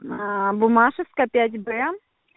буммашевская пять б